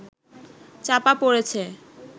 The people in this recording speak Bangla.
চাপা পড়েছে